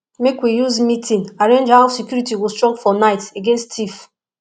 make we use meeting arrange how security go strong for night against thief